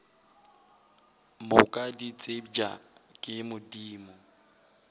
moka di tsebja ke modimo